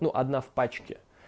ну одна в пачке